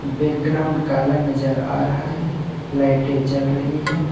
Background काला नजर आ रहा है लाइटें जल रही है।